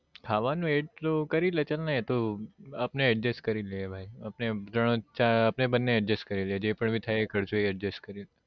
ખાવા નું add કરી લે ચલ ને એ તો આપને adjust કરી લેવાય આપને બંને adjust કરી લિયે જે પણ બી થાય એ ખર્ચો adjust કરીયે